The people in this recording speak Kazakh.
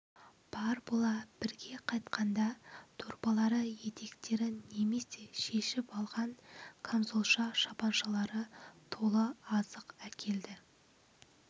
бар бола бірге қайтқанда дорбалары етектері немесе шешіп алған камзолша шапаншалары толы азық әкелді